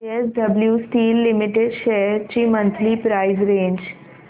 JSW steel limited shares ची monthly price range